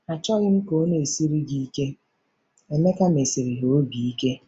Achọghị m ka ọ na-esiri gị ike ,' Emeka mesiri ha obi ike.